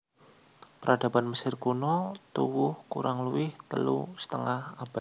Peradaban Mesir Kuno tuwuh kurang luwih telu setengah abad